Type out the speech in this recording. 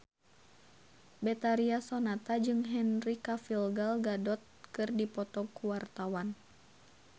Betharia Sonata jeung Henry Cavill Gal Gadot keur dipoto ku wartawan